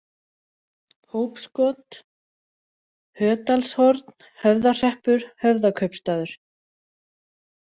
Hópskot, Hödalshorn, Höfðahreppur, Höfðakaupstaður